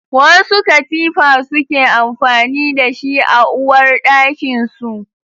Wasu katifa suke amfani da shi a uwarɗakin su